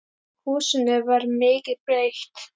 Húsinu var mikið breytt.